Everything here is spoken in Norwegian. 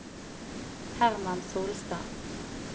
Herman Solstad